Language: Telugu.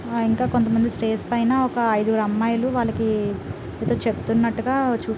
ఆ ఇంకా కొత్త మంది స్టేజ్ పైన ఒక ఐదు గురు అమ్మాయిలు వాలకి ఏదో చెప్పునట్టుగా చూపిస్--